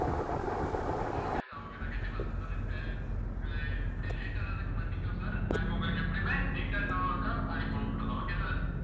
okay sir okay sir கண்டிப்பா sir sir அஹ் அஹ் இப்படி late ஆனதுக்கு மன்னிக்கவும் sir நாங்க உங்களுக்கு எப்படியுமே neat ஆ இன்னொருக்கா அனுப்பி விட்டுறோம் okay sir